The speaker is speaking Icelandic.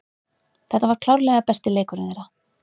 Þetta var klárlega besti leikurinn þeirra.